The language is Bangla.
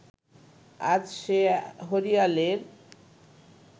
আজ সে হরিয়ালের